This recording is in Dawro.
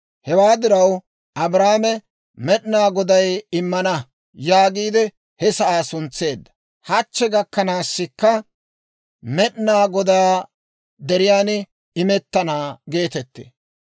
Hewaa diraw Abrahaame, «Med'ina Goday immana» yaagiide he sa'aa suntseedda; hachche gakkanaasikka, «Med'inaa Godaa deriyaan imettana» geetettee.